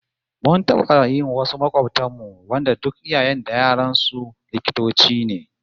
Mun taba yi wasu makobtan mu wanda duk iyayen da yaran su likitoci ne